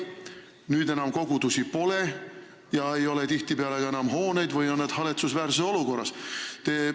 Nüüd enam kogudusi pole ja tihtipeale ei ole ka enam hooneid või on need haletsusväärses olukorras.